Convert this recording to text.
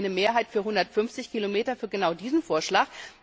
Da hatten wir eine Mehrheit für 150 Kilometer, für genau diesen Vorschlag.